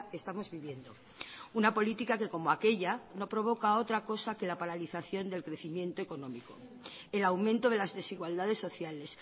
estamos viviendo una política que como aquella no provoca otra cosa que la paralización del crecimiento económico el aumento de las desigualdades sociales